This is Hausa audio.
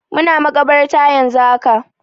Muna makabarta yanzu haka.